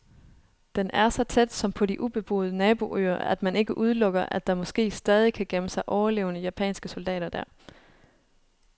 Den er så tæt, som på de ubeboede naboøer, at man ikke udelukker, at der måske stadig kan gemme sig overlevende japanske soldater der.